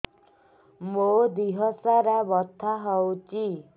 ମୋ ଦିହସାରା ବଥା ହଉଚି